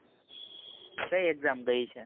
કઈ exam ગઈ છે